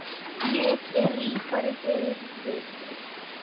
Ég er ríkari fyrir vikið.